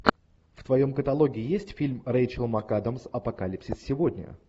в твоем каталоге есть фильм рэйчел макадамс апокалипсис сегодня